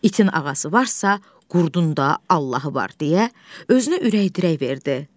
İtin ağası varsa, qurdun da Allahı var, deyə özünə ürək-dirək verdi.